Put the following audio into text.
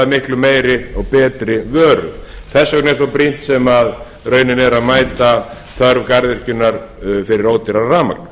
miklu meiri og betri vöru þess vegna er svo brýnt sem raunin er að mæta þörf garðyrkjunnar fyrir ódýrara rafmagn